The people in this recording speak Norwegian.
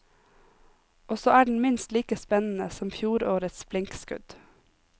Og så er den minst like spennende som fjorårets blinkskudd.